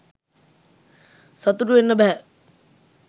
සතුටු වෙන්න බැහැ.